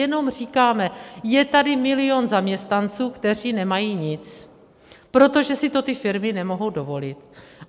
Jenom říkáme, je tady milion zaměstnanců, kteří nemají nic, protože si to ty firmy nemohou dovolit.